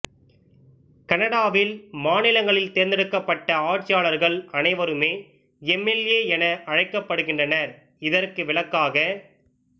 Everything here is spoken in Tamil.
கனடாவில் மாநிலங்களில் தேர்தெடுக்கப்பட்ட ஆட்சியாளர்கள் அனைவருமே எம்எல்ஏ என அழைக்கப்படுகின்றனர் இதற்கு விலக்காக